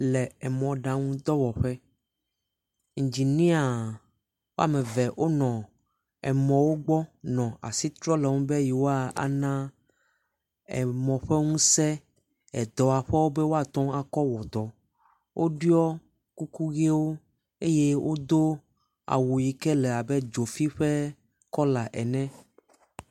Le emɔɖaŋu dɔwɔƒe, enginia woame eve wonɔ emɔwo gbɔ nɔ asi trɔm le emɔwo ŋu be yewoa ana emɔ ƒe ŋusẽ edɔwɔƒeawo be woate ŋu akɔ wɔ dɔ. Woɖiɔ kuku ʋiwo eye wodo awu si yi ke le abe dzofi ƒe kɔla ene.